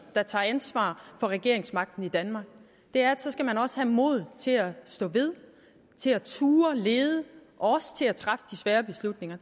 der tager ansvar for regeringsmagten i danmark det er at så skal man også have mod til at stå ved til at turde lede og også til at træffe de svære beslutninger